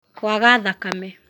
kwaga thakame